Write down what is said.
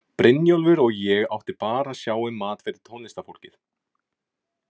Brynjólfur og ég átti bara að sjá um mat fyrir tónlistarfólkið.